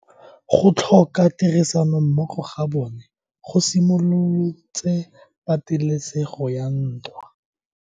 Go tlhoka tirsanommogo ga bone go simolotse patelesego ya ntwa.